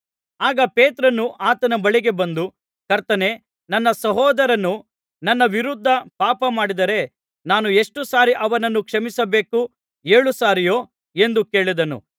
ಆಗ ಪೇತ್ರನು ಆತನ ಬಳಿಗೆ ಬಂದು ಕರ್ತನೇ ನನ್ನ ಸಹೋದರನು ನನ್ನ ವಿರುದ್ಧ ಪಾಪ ಮಾಡಿದರೆ ನಾನು ಎಷ್ಟು ಸಾರಿ ಅವನನ್ನು ಕ್ಷಮಿಸಬೇಕು ಏಳು ಸಾರಿಯೋ ಎಂದು ಕೇಳಿದನು